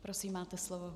Prosím, máte slovo.